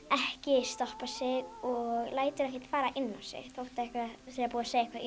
ekki stoppa sig og lætur ekkert fara inn á sig þótt það sé búið að segja eitthvað